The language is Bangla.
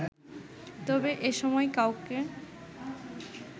তবে এসময় কাউকে